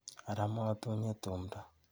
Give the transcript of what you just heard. Ara motunye tumdo?